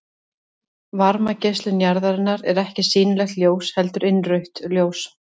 Varmageislun jarðarinnar er ekki sýnilegt ljós heldur innrautt ljós.